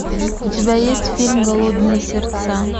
у тебя есть фильм голодные сердца